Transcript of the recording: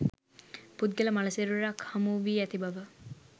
පුද්ගල මළ සිරුරක් හමුවී ඇති බව